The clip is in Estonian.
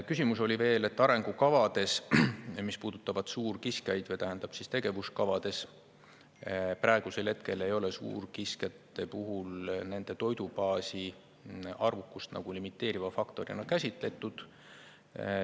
Küsimus oli veel, et tegevuskavades, mis puudutavad suurkiskjaid, praegusel hetkel ei ole suurkiskjate toidubaasi arvukust nagu limiteeriva faktorina käsitletud.